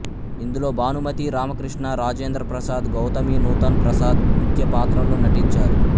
ఇందులో భానుమతి రామకృష్ణ రాజేంద్ర ప్రసాద్ గౌతమి నూతన్ ప్రసాద్ ముఖ్య పాత్రల్లో నటించారు